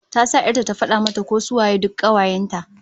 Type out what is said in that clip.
Ta sa 'yar ta ta fada mata ko su waye duk kawayen ta